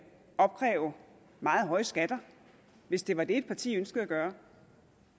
opkræve meget høje skatter hvis det var det et parti ønskede at gøre